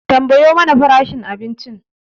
Tambayo mana farashin abincin